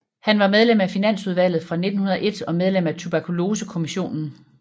Han var medlem af Finansudvalget fra 1901 og medlem af Tuberkulosekommissionen